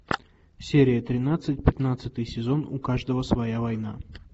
серия тринадцать пятнадцатый сезон у каждого своя война